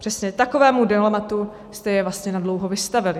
Přesně takovému dilematu jste je vlastně nadlouho vystavili.